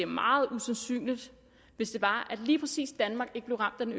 meget usandsynligt hvis det var at lige præcis danmark ikke blev ramt af den